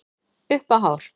Upp á hár.